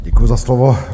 Děkuju za slovo.